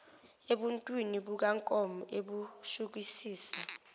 ebuntwini bukankomo ebushukisisa